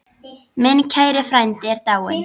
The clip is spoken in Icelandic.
Minn kæri frændi er dáinn.